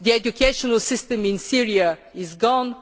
The education system in Syria is